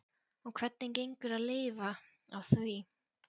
Og hvernig gengur að lifa á því?